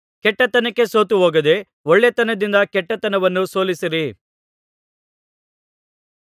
ಕೆಟ್ಟತನಕ್ಕೆ ಸೋತುಹೋಗದೆ ಒಳ್ಳೆತನದಿಂದ ಕೆಟ್ಟತನವನ್ನು ಸೋಲಿಸಿರಿ